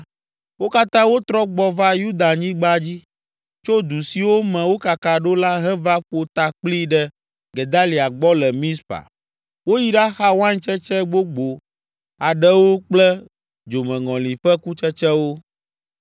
wo katã wotrɔ gbɔ va Yudanyigba dzi, tso du siwo me wokaka ɖo la heva ƒo ta kpli ɖe Gedalia gbɔ le Mizpa. Woyi ɖaxa waintsetse gbogbo aɖewo kple dzomeŋɔli ƒe kutsetsewo.